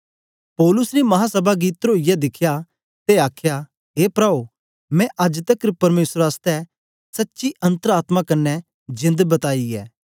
पौलुस ने महासभा गी तरोईयै दिखया ते आखया ए प्राओ मैं अज्ज तकर परमेसर आसतै सच्ची अन्तर आत्मा क्न्ने जेंद बताई ऐ